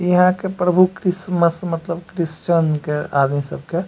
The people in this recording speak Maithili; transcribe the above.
इ अहां के प्रभु क्रिसमस मतलब क्रिस्चन के आदमी सब के --